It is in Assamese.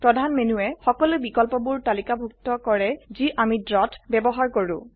প্ৰধান মেনুয়ে সকলো বিকল্পবোৰ তালিকাভুত্ত কৰে যি অমি ড্ৰ ত ব্যবহাৰ কৰো